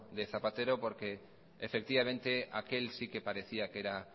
de zapatero porque efectivamente aquel si que parecía que era